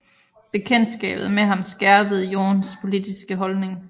Bekendtskabet med ham skærpede Jorns politiske holdning